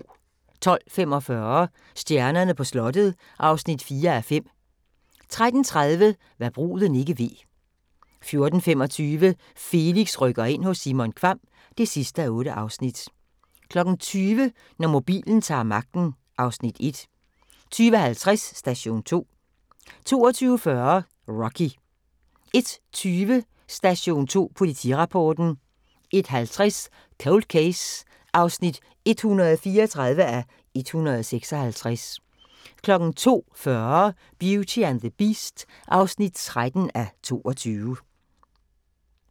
12:45: Stjernerne på slottet (4:5) 13:30: Hva' bruden ikke ved 14:25: Felix rykker ind – hos Simon Kvamm (8:8) 20:00: Når mobilen ta'r magten (Afs. 1) 20:50: Station 2 22:40: Rocky 01:20: Station 2 Politirapporten 01:50: Cold Case (134:156) 02:40: Beauty and the Beast (13:22)